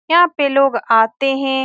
यहाँ पे लोग आते हैं।